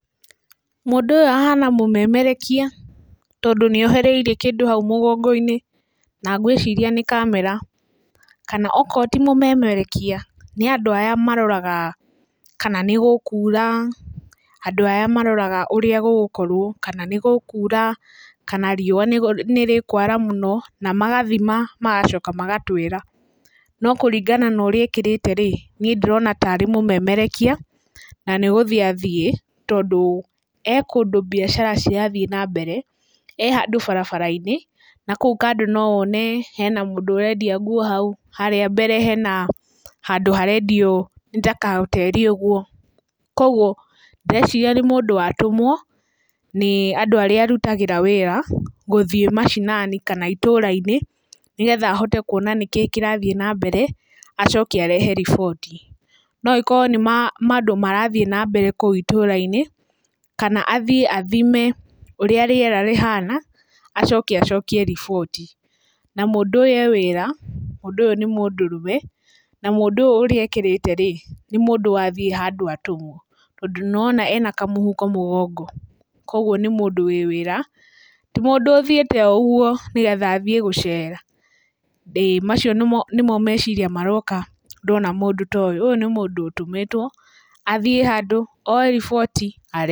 Mũndũ ũyũ ahana mũmemereka, tondũ nĩohereire kĩndũ hau mũgongo-inĩ, na ngwĩciria nĩ kamera. Kana akorwo ti mũmemerekia nĩ andũ arĩa maroraga kana nĩ gũkura, andũ arĩa maroraga ũrĩa gũgũkorwo kana nĩ gũkura kana riũa nĩrĩkwara mũno, na magathima magacoka magatwĩra. No kũringana na ũrĩa ekĩrĩte rĩ ndĩrona ta arĩ mũmemerekia na nĩ gũthiĩ athiĩ, tondũ e kũndũ biacara cirathiĩ na mbere. E handũ barabara-inĩ, kũu kando no wone hena mũndũ ũrendia nguo hau, harĩa mbere hena handũ harendio nĩ ta kahoteri ũguo. Koguo ndĩreciria nĩ mũndũ watũmwo nĩ andũ arĩa arutagĩra wĩra gũthiĩ macinani kana matũra-inĩ, nĩgetha ahote kuona nĩkĩĩ kĩrathiĩ na mbere acoke arehe riboti. No akorwo nĩ maũndũ marathiĩ na mbere kũu itura-inĩ kana athiĩ athime ũrĩa rĩera rĩhana acoke acokie riboti. Na mũndũ ũyũ e wĩra, na mũndũ ũyũ nĩ mũndũrũme na mũndũ ũyũ ũrĩa ekĩrĩte rĩ nĩ mũndũ wathiĩ handũ atũmwo, tondũ nĩwona ena kamũhuko mũgongo. Koguo nĩ mũndũ wĩ wĩra ti mũndũ ũthiĩte o ũguo nĩgetha athiĩ gũcera, ĩĩ. Macio nĩmo meciria maroka ndona mũndũ ta ũyũ mũndũ ũyũ nĩ mũndũ ũtũmĩtwo athiĩ handũ oye riboti arehe.